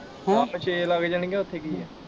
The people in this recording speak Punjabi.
ਉਹ ਆਪੇ ਛੇ ਲੱਗ ਜਾਣਗੀਆ ਉੱਥੇ ਕੀ ਆ।